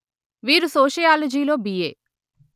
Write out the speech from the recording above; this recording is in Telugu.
వీరు సోషియాలజిలో బిఎ